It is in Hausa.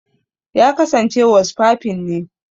Ya kasance wasfafin ne.